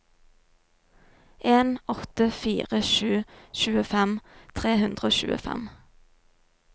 en åtte fire sju tjuefem tre hundre og tjuefem